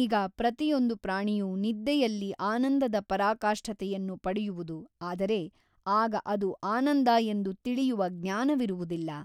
ಈಗ ಪ್ರತಿಯೊಂದು ಪ್ರಾಣಿಯೂ ನಿದ್ದೆಯಲ್ಲಿ ಆನಂದದ ಪರಾಕಾಷ್ಠತೆಯನ್ನು ಪಡೆಯುವುದು ಆದರೆ ಆಗ ಅದು ಆನಂದ ಎಂದು ತಿಳಿಯುವ ಜ್ಞಾನವಿರುವುದಿಲ್ಲ.